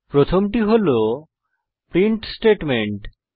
প্রথমটি হল print statement